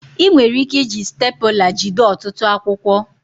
Ị nwere ike iji stepụla jide ọtụtụ akwụkwọ